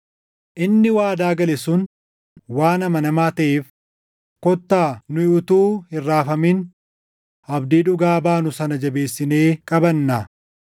Inni waadaa gale sun waan amanamaa taʼeef kottaa nu utuu hin raafamin abdii dhugaa baanu sana jabeessinee qabannaa.